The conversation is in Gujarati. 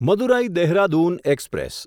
મદુરાઈ દેહરાદૂન એક્સપ્રેસ